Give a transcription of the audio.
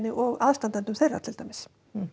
og aðstandendum þeirra til dæmis